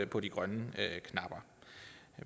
på de grønne napper